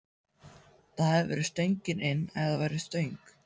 Það hefði verið stöngin inn ef það væri stöng!